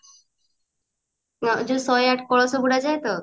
ହଁ ଯୂୟାଉ ଶହେ ଆଠ କଳସ ବୁଡା ଯାଏ ତ